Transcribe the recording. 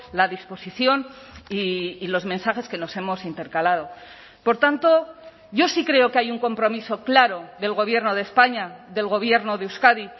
la disposición y los mensajes que nos hemos intercalado por tanto yo sí creo que hay un compromiso claro del gobierno de españa del gobierno de euskadi